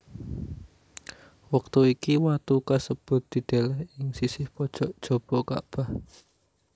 Wektu iki watu kasebut dideleh ing sisih pojok jaba Kakbah